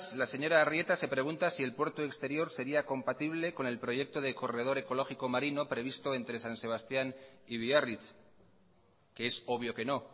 la señora arrieta se pregunta si el puerto exterior sería compatible con el proyecto de corredor ecológico marino previsto entre san sebastián y biarritz que es obvio que no